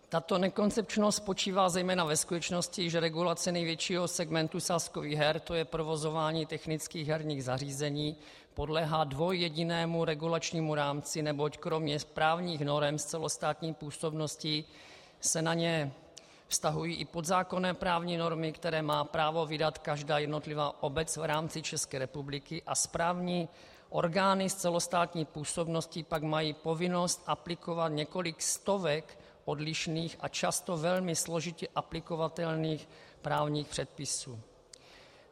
Tato nekoncepčnost spočívá zejména ve skutečnosti, že regulace největšího segmentu sázkových her, to je provozování technických herních zařízení, podléhá dvojjedinému regulačnímu rámci, neboť kromě právních norem s celostátní působností se na něj vztahují i podzákonné právní normy, které má právo vydat každá jednotlivá obec v rámci České republiky a správní orgány s celostátní působností pak mají povinnost aplikovat několik stovek odlišných a často velmi složitě aplikovatelných právních předpisů.